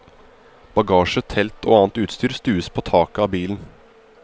Bagasje, telt og annet utstyr stues på taket av bilen.